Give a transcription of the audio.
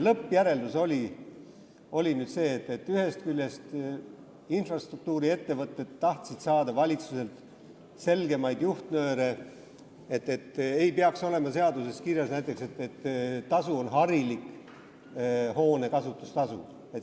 Lõppjäreldus oli praegu selline: ühest küljest infrastruktuuri ettevõtted tahtsid saada valitsuselt selgemaid juhtnööre, näiteks ei peaks olema seaduses kirjas, et tasu on harilik hoone kasutustasu.